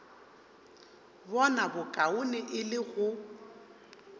bona bokaone e le go